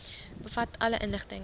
bevat alle inligting